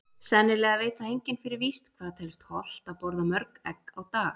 Sennilega veit það enginn fyrir víst hvað telst hollt að borða mörg egg á dag.